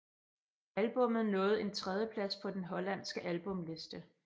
Albummet nåede en tredjeplafs på den hollandske albumliste